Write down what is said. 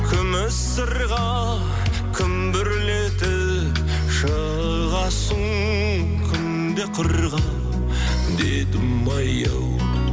күміс сырға күмбірлетіп шығасың күнде қырға дедімай ау